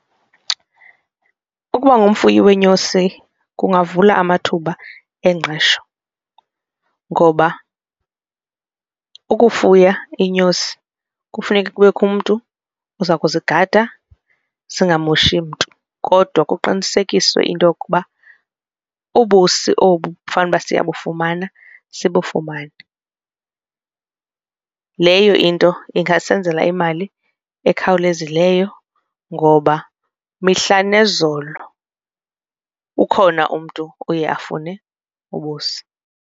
Ukuba ngumfuyi weenyosi kungavula amathuba engqesho ngoba ukufuya iinyosi kufuneke kubekho umntu oza ukuzigada zingamoshi mntu kodwa kuqinisekiswe into yokuba ubusi obu fanuba siyabufumana sibufumane. Leyo into ingasenzela imali ekhawulezileyo ngoba mihla nezolo ukhona umntu oye afune ubusi.